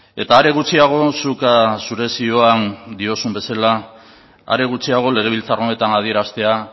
eta are gutxiago zuk zure zioan diozun bezala are gutxiago legebiltzar honetan adieraztea